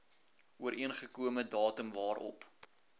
ooreengekome datum waarop